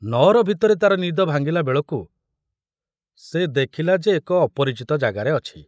ନଅର ଭିତରେ ତାର ନିଦ ଭାଙ୍ଗିଲା ବେଳକୁ ସେ ଦେଖିଲା ଯେ ଏକ ଅପରିଚିତ ଜାଗାରେ ଅଛି।